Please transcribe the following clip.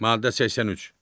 Maddə 83.